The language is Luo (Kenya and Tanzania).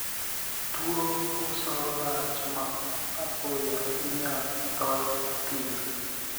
Tuo puso lach ma apoya inyal thor thir.